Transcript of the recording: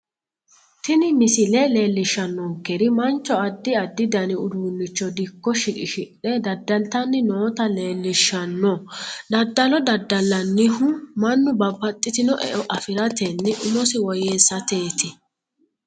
Tini misile leelishanonkeri mancho addi addi dani uduunicho dikko shiqishidhe daddalitani noota leelishshano daddalo daddalinanihu mannu babbaxitino e'o afiratenna umosi woyeesateeti